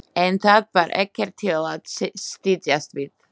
En það var ekkert til að styðjast við.